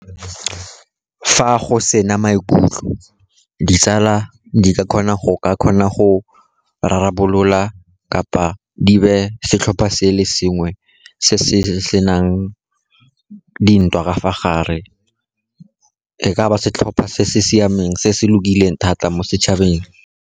Fa go sena maikutlo, ditsala di ka kgona go ka kgona go rarabolola, kapa di be setlhopha se le sengwe se se nang dintwa ka fa gare. E ka ba setlhopha se se siameng, se se lokileng thata mo setšhabeng.